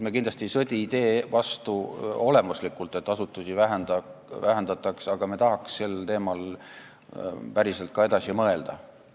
Me kindlasti ei sõdi olemuslikult idee vastu, et asutuste arvu vähendataks, aga me tahaks sel teemal päriselt ka edasi mõelda.